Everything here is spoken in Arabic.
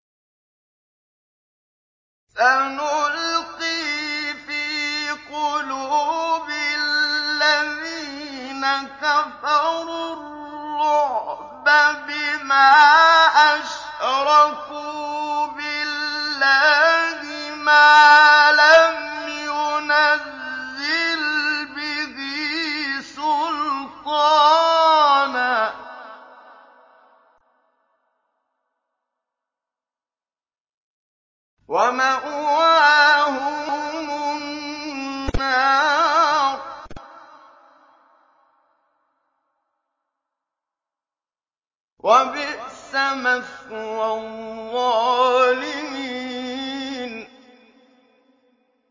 سَنُلْقِي فِي قُلُوبِ الَّذِينَ كَفَرُوا الرُّعْبَ بِمَا أَشْرَكُوا بِاللَّهِ مَا لَمْ يُنَزِّلْ بِهِ سُلْطَانًا ۖ وَمَأْوَاهُمُ النَّارُ ۚ وَبِئْسَ مَثْوَى الظَّالِمِينَ